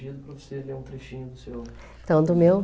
Tinha pedido para você ler um trechinho do seu... Então, do meu?